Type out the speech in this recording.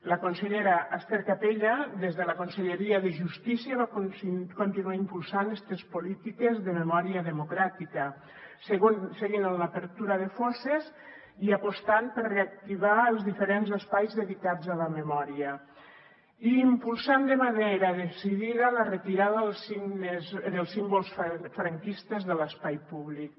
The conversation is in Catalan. la consellera ester capella des de la conselleria de justícia va continuar impulsant estes polítiques de memòria democràtica seguint amb l’obertura de fosses i apostant per reactivar els diferents espais dedicats a la memòria i impulsant de manera decidida la retirada dels símbols franquistes de l’espai públic